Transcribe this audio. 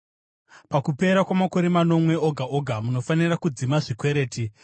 Pakupera kwamakore manomwe oga oga munofanira kudzima zvikwereti.